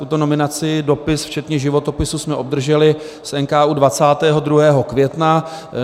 Tuto nominaci, dopis včetně životopisu, jsme obdrželi z NKÚ 22. května.